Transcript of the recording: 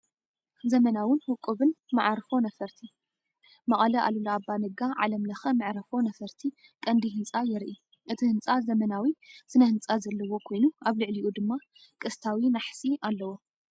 ዘመናውን ውቁብን መዓርፎ ነፈርቲ! መቐለ ኣሉላ ኣባ ነጋ ዓለም ለኸ መዕርፎ ነፈርቲ ቀንዲ ህንፃ የርኢ። እቲ ህንጻ ዘመናዊ ስነ ህንጻ ዘለዎ ኮይኑ፡ ኣብ ልዕሊኡ ድማ ቅስታዊ ናሕሲ ኣለዎ።